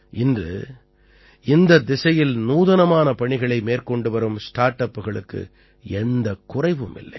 இன்று இந்தத் திசையில் நூதனமான பணிகளை மேற்கொண்டு வரும் ஸ்டார்ட் அப்புகளுக்குக் எந்தக் குறைவும் இல்லை